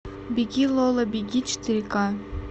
беги лола беги четыре ка